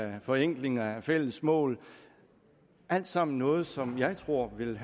og forenklinger af fælles mål alt sammen noget som jeg tror vil